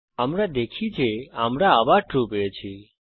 আমরা দেখি যে আমরা আবার ট্রু পাই